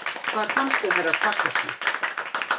Hvar fannstu Herra Takashi?